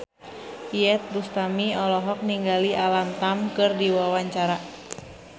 Iyeth Bustami olohok ningali Alam Tam keur diwawancara